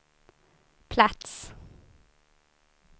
plats